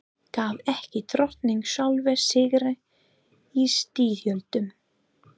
Gaf ekki Drottinn sjálfur sigra í styrjöldum?